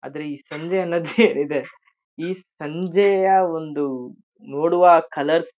ಆದ್ರೆ ಈ ಸಂಜೆ ಅನ್ನೋದ್ ಏನಿದೆ ಈ ಸಂಜೆಯ ಒಂದು ನೋಡುವ ಕಲರ್ --